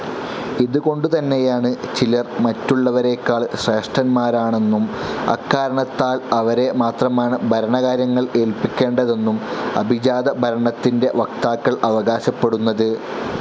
ഇതുകൊണ്ടുതന്നെയാണ് ചിലർ മറ്റുള്ളവരെക്കാൾ ശ്രേഷ്ഠന്മാരാണെന്നും അക്കാരണത്താൽ അവരെ മാത്രമാണ് ഭരണകാര്യങ്ങൾ ഏല്പിക്കേണ്ടതെന്നും അഭിജാത ഭരണത്തിൻ്റെ വക്താക്കൾ അവകാശപ്പെടുന്നത്.